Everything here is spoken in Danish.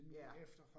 Ja